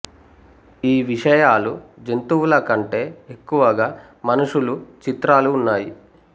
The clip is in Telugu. ఈ విషయాలు జంతువుల కంటే ఎక్కువగా మనుషులు చిత్రాలు ఉన్నాయి